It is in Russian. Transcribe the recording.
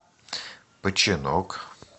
починок